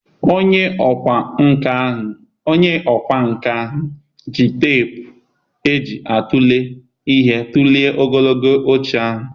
Onye ọkwá nkà ji teepu eji atụle ihe tụlee ogologo oche ahụ.